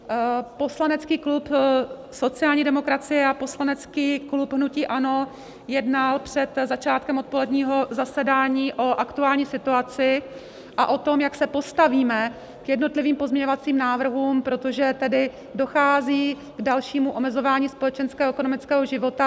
Poslanecký klub sociální demokracie a poslanecký klub hnutí ANO jednal před začátkem odpoledního zasedání o aktuální situaci a o tom, jak se postavíme k jednotlivým pozměňovacím návrhům, protože tedy dochází k dalšímu omezování společenského a ekonomického života.